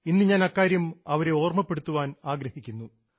ഇന്ന് ഞാൻ അക്കാര്യം ഓർമ്മപ്പെടുത്തുവാൻ ആഗ്രഹിക്കുന്നു